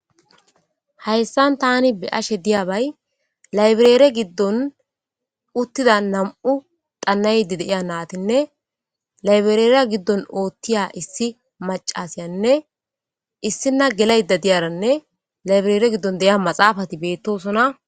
Haysan tan beyashe diyabay library gidon utida 2 natinne libraryan otiya macasiyanne issina gelada diyaranne library gidon maxafat betosona.